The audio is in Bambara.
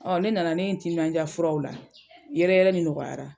Ɔ ne nana ne ye n timinanja furaw la, yɛrɛyɛrɛ ni nɔgɔyara.